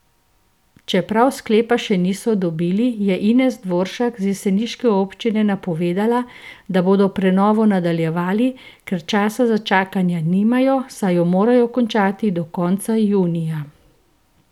Čeprav sklepa še niso dobili, je Ines Dvoršak z jeseniške občine napovedala, da bodo prenovo nadaljevali, ker časa za čakanje nimajo, saj jo morajo končati do konca junija.